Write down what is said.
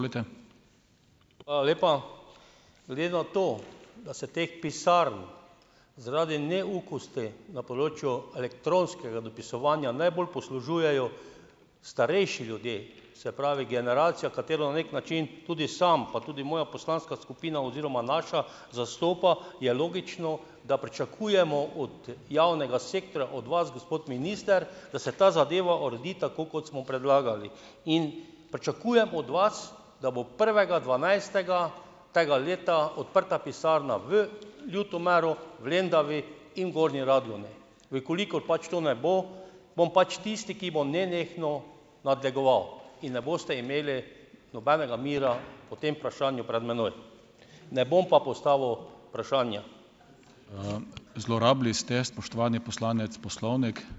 Hvala lepa. Glede na to, da se teh pisarn zaradi neukosti na področju elektronskega dopisovanja najbolj poslužujejo starejši ljudje, se pravi generacija, katero na neki način tudi sam pa tudi moja poslanska skupina oziroma naša zastopa, je logično, da pričakujemo od, javnega sektorja, od vas, gospod minister, da se ta zadeva uredi tako, kot smo predlagali. In pričakujem od vas, da bo prvega dvanajstega tega leta odprta pisarna v Ljutomeru, v Lendavi in Gornji Radgoni. V kolikor pač to ne bo, bom pač tisti, ki bo nenehno nadlegoval, in ne boste imeli nobenega mira o tem vprašanju pred mano. Ne bom pa postavil vprašanja.